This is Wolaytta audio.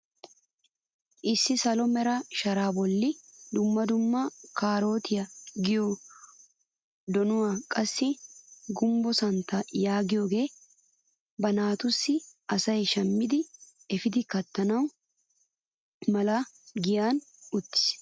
Issi salo mera sharaa bolli dumma dumma kaarotiyaa giyoo donuwaa qassi gumbbo santtaa yaagiyooge ba naatussi asay shammi epiidi kattana mala giyan uttis.